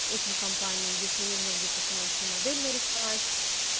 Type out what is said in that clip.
этим компаниям если нужно где-то финансовую модель нарисовать